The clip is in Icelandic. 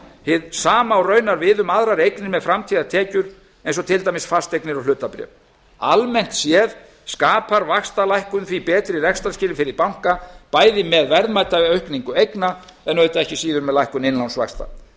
hið sama á raunar við um aðrar eignir með framtíðartekjur eins og til dæmis fasteignir og hlutabréf almennt séð skapar vaxtalækkun því betri rekstrarskilyrði fyrir banka bæði með verðmætaaukningu eigna en auðvitað ekki síður með lækkun innlánsvaxta